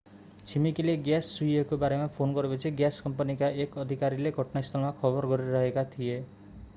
छिमेकीले ग्याँस चुहिएको बारेमा फोन गरेपछि ग्याँस कम्पनीका एक अधिकारीले घटनास्थलमा खबर गरिरहेका थिए